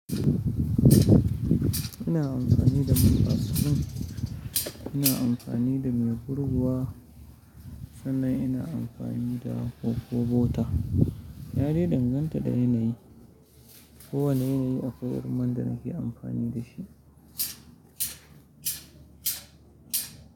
Ina amfani da man baslin, ina amfani da mai gurguwa, sannan ina amfani da cocoabutter yadai danganta da yanayi. Kowane yanayi akwai man da nake amfani da shi.